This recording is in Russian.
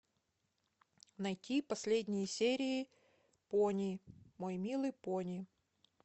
найти последние серии пони мой милый пони